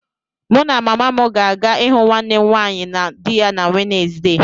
Mụ na mama m ga-aga ịhụ nwanne m nwaanyị na di ya na Wednesde.